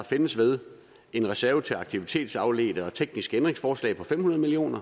findes ved en reserve til aktivitetsafledte og tekniske ændringsforslag på fem hundrede million